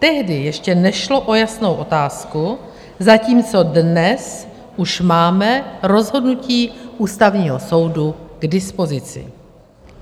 Tehdy ještě nešlo o jasnou otázku, zatímco dnes už máme rozhodnutí Ústavního soudu k dispozici.